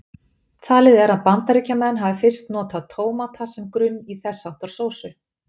Talið er að Bandaríkjamenn hafi fyrstir notað tómata sem grunn í þess háttar sósu.